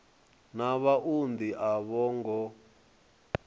na vhaunḓi a vho ngo